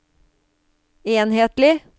enhetlig